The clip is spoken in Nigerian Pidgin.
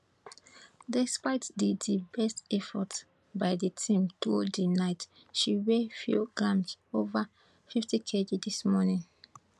despite di di best efforts by di team through di night she weigh few grams ova fifty kg dis morning